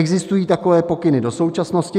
Existují takové pokyny do současnosti?